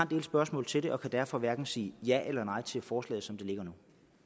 del spørgsmål til det og kan derfor hverken sige ja eller nej til forslaget som det ligger nu